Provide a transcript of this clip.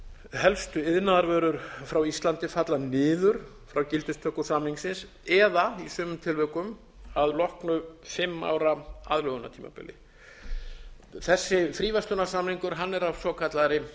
helstu iðnaðarvörur frá íslandi falla niður frá gildistöku samningsins eða í sumum tilvikum að loknu fimm ára aðlögunartímabili þessi fríverslunarsamningur er af svokallaðri